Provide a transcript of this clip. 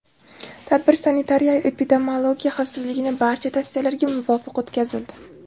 Tadbir sanitariya-epidemiologiya xavfsizligini barcha tavsiyalarga muvofiq o‘tkazildi.